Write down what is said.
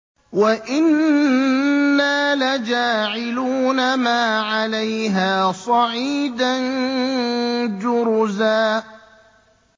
وَإِنَّا لَجَاعِلُونَ مَا عَلَيْهَا صَعِيدًا جُرُزًا